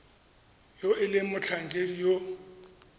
yo e leng motlhankedi yo